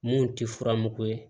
Mun tɛ furamugu ye